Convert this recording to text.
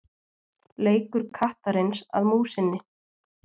leikur kattarins að músinni